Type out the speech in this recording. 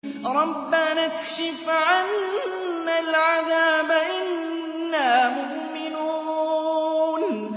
رَّبَّنَا اكْشِفْ عَنَّا الْعَذَابَ إِنَّا مُؤْمِنُونَ